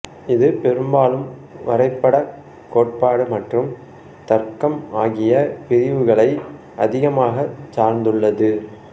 இது பெரும்பாலும் வரைபடக் கோட்பாடு மற்றும் தர்க்கம் ஆகிய பிரிவுகளை அதிகமாக சார்ந்துள்ளது